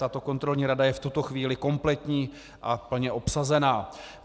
Tato kontrolní rada je v tuto chvíli kompletní a plně obsazená.